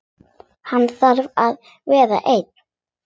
Hann þarf að vera einn.